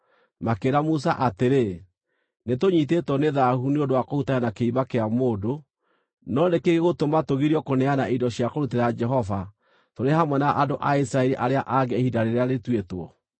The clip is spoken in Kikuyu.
makĩĩra Musa atĩrĩ, “Nĩ tũnyiitĩtwo nĩ thaahu nĩ ũndũ wa kũhutania na kĩimba kĩa mũndũ, no nĩ kĩĩ gĩgũtũma tũgirio kũneana indo cia kũrutĩra Jehova tũrĩ hamwe na andũ a Isiraeli arĩa angĩ ihinda rĩrĩa rĩtuĩtwo?”